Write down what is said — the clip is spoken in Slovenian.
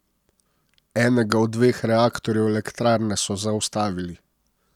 Enega od dveh reaktorjev elektrarne so zaustavili.